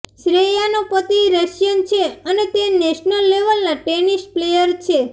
શ્રેયાનો પતિ રશિયન છે અને તે નેશનલ લેવલના ટેનિસ પ્લેયર છે